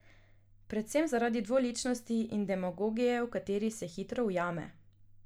Predvsem zaradi dvoličnosti in demagogije, v kateri se hitro ujame.